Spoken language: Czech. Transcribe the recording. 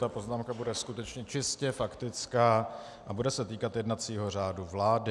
Ta poznámka bude skutečně čistě faktická a bude se týkat jednacího řádu vlády.